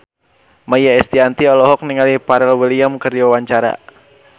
Maia Estianty olohok ningali Pharrell Williams keur diwawancara